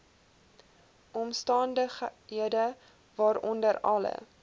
omstandighede waaronder alle